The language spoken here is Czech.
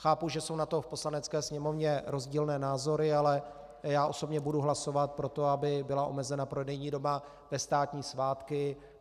Chápu, že jsou na to v Poslanecké sněmovně rozdílné názory, ale já osobně budu hlasovat pro to, aby byla omezena prodejní doba ve státní svátky.